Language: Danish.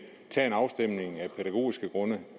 tage en afstemning af pædagogiske grunde